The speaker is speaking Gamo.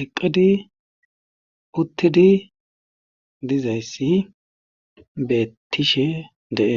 eqqidi uttidi dizayssi beettishe de7ee.